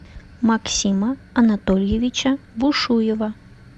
максима анатольевича бушуева